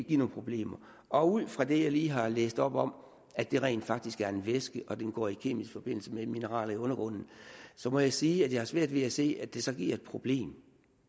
give nogen problemer og ud fra det jeg lige har læst op om at det rent faktisk er en væske og at den går i kemisk forbindelse med mineraler i undergrunden må jeg sige at jeg har svært ved at se at det så giver et problem